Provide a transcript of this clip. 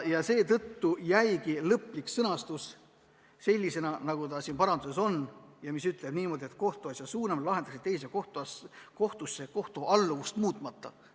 Seetõttu jäigi lõplik paragrahvi pealkirja sõnastus sellisena, nagu see siin parandatud tekstis on: kohtuasja suunamine lahendamiseks teise kohtusse kohtualluvust muutmata.